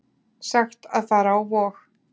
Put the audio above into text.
Sagt að fara á Vog